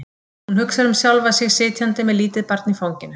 Hún hugsar um sjálfa sig sitjandi með lítið barn í fanginu.